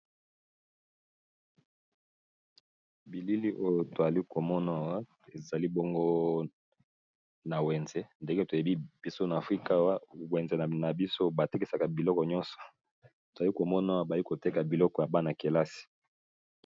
Bilili oyo toali komonawa ezali bongo na wenze, ndenge toyebi biso na afrika wa wenze na biso ba tekisaka biloko nyonso toali komonawa bali koteka biloko ya bana-kelasi.